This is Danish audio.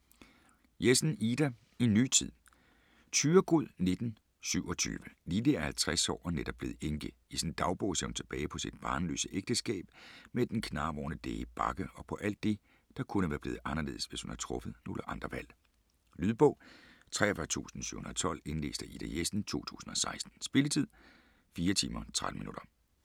Jessen, Ida: En ny tid Thyregod, 1927. Lilly er 50 år og netop blevet enke. I sin dagbog ser hun tilbage på sit barnløse ægteskab med den knarvorne læge Bagge og på alt det, der kunne være blevet anderledes, hvis hun havde truffet nogle andre valg. Lydbog 43712 Indlæst af Ida Jessen, 2016. Spilletid: 4 timer, 13 minutter.